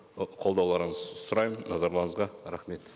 ы қолдауларыңызды сұраймын назарларыңызға рахмет